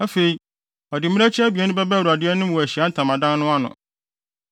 Afei, ɔde mmirekyi abien no bɛba Awurade anim wɔ Ahyiae Ntamadan no ano.